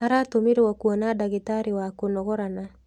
Aratũmirwo kwona ndagitarĩ wa kũnogorana.